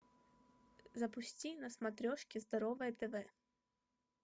запусти на смотрешке здоровое тв